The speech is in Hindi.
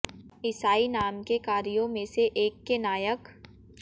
ईसाई नाम के कार्यों में से एक के नायक